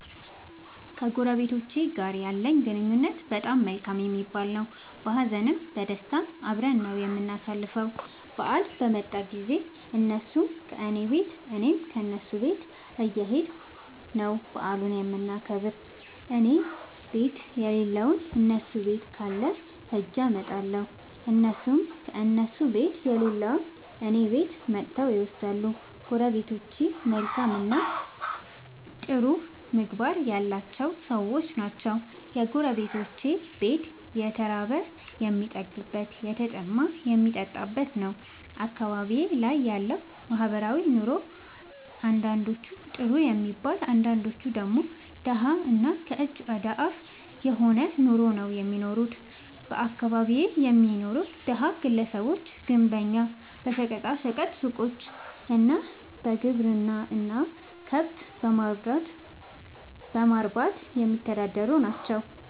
ከጎረቤቶቸ ጋር ያለኝ ግንኙነት በጣም መልካም የሚባል ነዉ። በሀዘንም በደስታም አብረን ነዉ የምናሣልፈዉ በአል በመጣ ጊዜም እነሡም ከኔ ቤት እኔም ከነሡ ቤት እየኸድኩ ነዉ በዓሉን የምናከብር እኔቤት የለለዉን እነሡ ቤት ካለ ኸጀ አመጣለሁ። እነሡም ከእነሡ ቤት የሌለዉን እኔ ቤት መጥተዉ ይወስዳሉ። ጎረቤቶቸ መልካምእና ጥሩ ምግባር ያላቸዉ ሠዎች ናቸዉ። የጎረቤቶቼ ቤት የተራበ የሚጠግብበት የተጠማ የሚጠጣበት ነዉ። አካባቢዬ ላይ ያለዉ ማህበራዊ ኑሮ አንዳንዶቹ ጥሩ የሚባል አንዳንዶቹ ደግሞ ደሀ እና ከእጅ ወደ አፍ የሆነ ኑሮ ነዉ እሚኖሩት በአካባቢየ የሚኖሩት ደሀ ግለሰቦች ግንበኛ በሸቀጣ ሸቀጥ ሡቆች እና በግብርና ስራ ከብት በማርባትየሚተዳደሩ ናቸዉ።